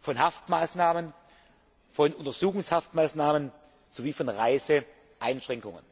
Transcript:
von Haft und Untersuchungshaftmaßnahmen sowie von Reisebeschränkungen.